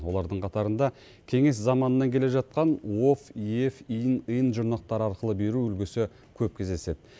олардың қатарында кеңес заманынан келе жатқан ов ев ин ын жұрнақтары арқылы беру үлгісі көп кездеседі